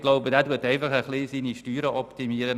Ich glaube, er optimiert einfach seine Steuern.